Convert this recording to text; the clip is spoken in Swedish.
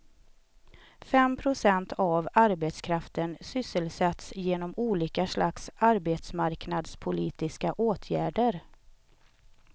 Fem procent av arbetskraften sysselsätts genom olika slags arbetsmarknadspolitiska åtgärder.